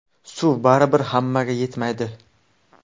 Suv baribir hammaga yetmaydi.